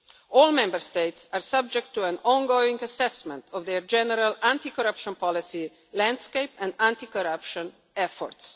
All Member States are subject to an ongoing assessment of their general anti corruption policy landscape and anti corruption efforts.